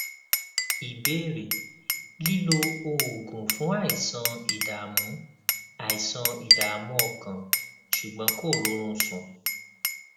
ìbéèrè lílo oògùn fún àìsàn ìdààmú àìsàn ìdààmú ọkàn ṣùgbọn kò rórun sùn